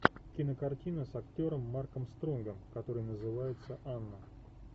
кинокартина с актером марком стронгом которая называется анна